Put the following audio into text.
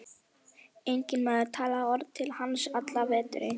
Enginn maður talaði orð til hans allan veturinn.